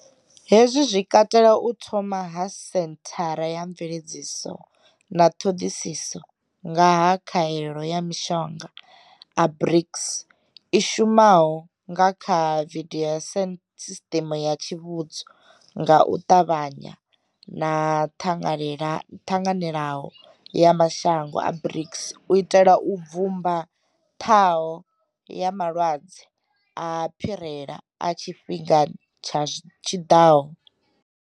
Hezwi zwi katela u thomiwa ha senthara ya mveledziso na ṱhoḓisiso nga ha khaelo ya mashango a BRICS i shumaho nga kha vidio na sisiṱeme ya tsivhudzo nga u ṱavhanya yo ṱanganelaho ya mashango a BRICS u itela u bvumba ṱhaho ya malwadze a phirela a tshi fhingani tshi ḓaho.